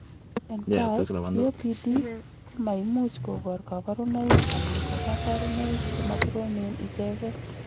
entai, COPD komaimuch kobor kaborunoik anan ko kaborunoik chemakoromen icheken